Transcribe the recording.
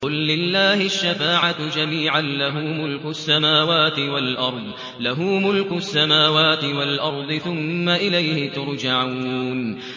قُل لِّلَّهِ الشَّفَاعَةُ جَمِيعًا ۖ لَّهُ مُلْكُ السَّمَاوَاتِ وَالْأَرْضِ ۖ ثُمَّ إِلَيْهِ تُرْجَعُونَ